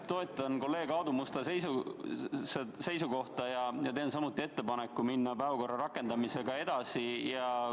Toetan kolleeg Aadu Musta seisukohta ja teen samuti ettepaneku minna päevakorra rakendamisega edasi.